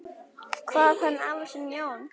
Kvað hann afa sinn, Jón